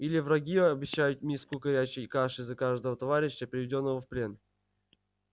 или враги обещают миску горячей каши за каждого товарища приведённого в плен